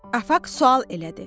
Afaq sual elədi.